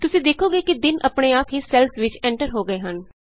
ਤੁਸੀਂ ਦੇਖੋਗੇ ਕਿ ਦਿਨ ਆਪਣੇ ਆਪ ਹੀ ਸੈੱਲਸ ਵਿਚ ਐਂਟਰ ਹੋ ਗਏੇ ਹਨ